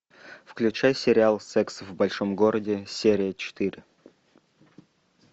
включай сериал секс в большом городе серия четыре